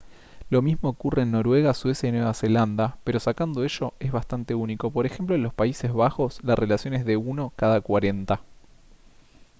lo mismo ocurre en noruega suecia y nueva zelanda pero sacando ello es bastante único p. ej. en los países bajos la relación es de uno cada cuarenta